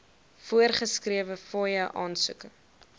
voorgeskrewe fooie aansoek